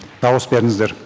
дауыс беріңіздер